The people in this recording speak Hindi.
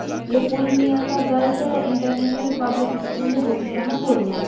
ये पूर्णिया का गर्ल्स इंटरनेशनल पब्लिक स्कूल है जो की कहां पुरनिआ में--